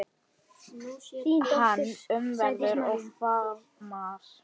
Hann umvefur og faðmar.